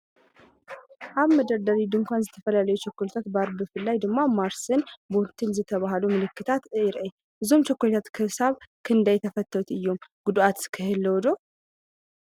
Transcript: ኣብ መደርደሪ ድኳን ዝተፈላለዩ ቸኮሌት ባር ብፍላይ ድማ ማርስን ቦውንቲን ዝበሃሉ ምልክታት የርኢ። እዞም ቸኮሌታት ክሳብ ክንደይ ተፈተውቲ እዮም ጉድኣት ከ የህልዎም ዶ?